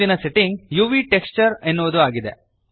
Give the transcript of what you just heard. ಮುಂದಿನ setting UV texture ಎನ್ನುವುದು ಆಗಿದೆ